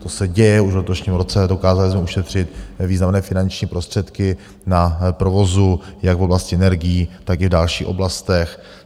To se děje už v letošním roce, dokázali jsme ušetřit významné finanční prostředky na provozu jak v oblasti energií, tak i v další oblastech.